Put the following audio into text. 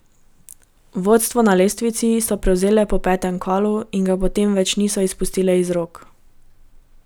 Vodstvo na lestvici so prevzele po petem kolu in ga potem več niso izpustile iz rok.